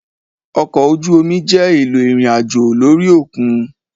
ọkọ oju omi jẹ elò irín-ajo lori okun.